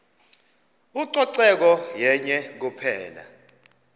ucoceko yenye kuphela